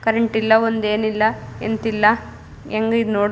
current ಇಲ್ಲ ಒಂದೆನಿಲ್ಲ ಎಂತಿಲ್ಲ ಹೆಂಗ್ ಇದ್ ನೋಡದ್ --